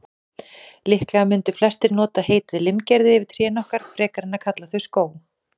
Líklega mundu flestir nota heitið limgerði yfir trén okkar, frekar en að kalla þau skóg.